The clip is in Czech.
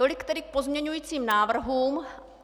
Tolik tedy k pozměňujícím návrhům.